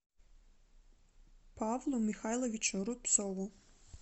павлу михайловичу рубцову